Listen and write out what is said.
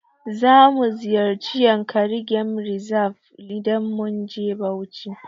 Zamu ziyarci yankari game reserve idan mun je Bauchi.